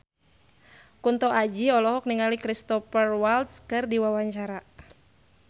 Kunto Aji olohok ningali Cristhoper Waltz keur diwawancara